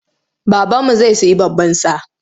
Babanmu zai sayi baban sa.